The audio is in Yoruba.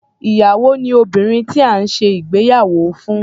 Ìyàwó ni obìnrin tí à ń ṣe ìgbéyàwó fún.